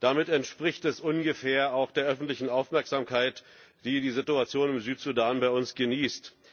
Das entspricht ungefähr auch der öffentlichen Aufmerksamkeit, die die Situation im Südsudan bei uns genießt.